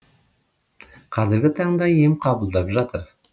қазіргі таңда ем қабылдап жатыр